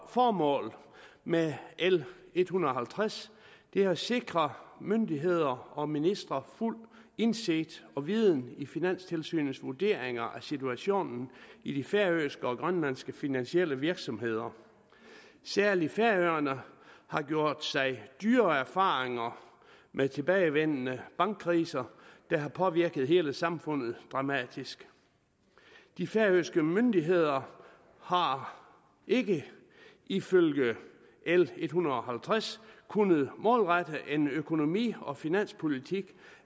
formål med l en hundrede og halvtreds er at sikre myndigheder og ministre fuldt indsigt og viden i finanstilsynets vurderinger af situationen i de færøske og grønlandske finansielle virksomheder særlig færøerne har gjort sig dyre erfaringer med tilbagevendende bankkriser der har påvirket hele samfundet dramatisk de færøske myndigheder har ikke ifølge l en hundrede og halvtreds kunnet målrette en økonomi og finanspolitik